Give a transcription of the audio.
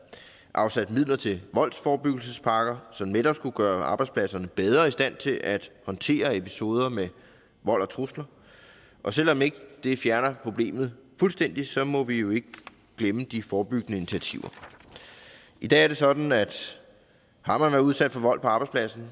afsat midler til voldsforebyggelsespakker som netop skulle gøre arbejdspladserne bedre i stand til at håndtere episoder med vold og trusler og selv om det ikke fjerner problemet fuldstændig så må vi jo ikke glemme de forebyggende initiativer i dag er det sådan at har man været udsat for vold på arbejdspladsen